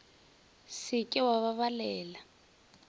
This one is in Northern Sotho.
se ke wa ba balela